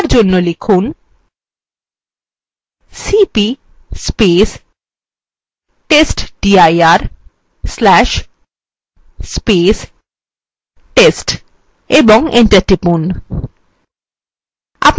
for জন্য লিখুন cp testdir/test ও enter টিপুন